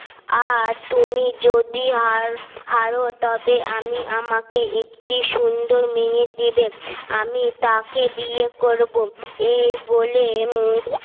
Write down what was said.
আর তুমি যদি আর হারো তবে আমি আমাকে একটি সুন্দর মেয়ে দিবে আমি তাকে বিয়ে করবো এই বলে